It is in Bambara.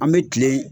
An bɛ kile